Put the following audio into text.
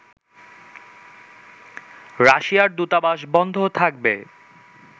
রাশিয়ার দূতাবাস বন্ধ থাকবে